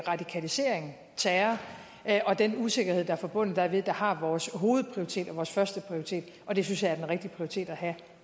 radikalisering terror og den usikkerhed der er forbundet dermed der har vores hovedprioritet og vores førsteprioritet og det synes jeg er den rigtige prioritet at have